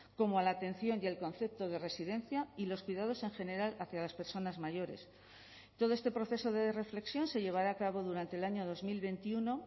como a la atención y el concepto de residencia y los cuidados en general hacia las personas mayores todo este proceso de reflexión se llevará a cabo durante el año dos mil veintiuno